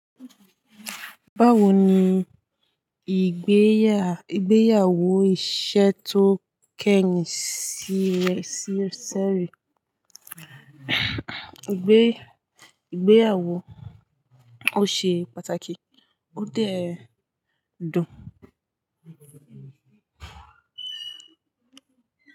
Báwo ni ìgbéyàwó iṣẹ́ tó kẹyin sí ṣẹ́rí? Ìgbéyàwó ò ṣe pàtàkì, ó dẹ ẹ dùn.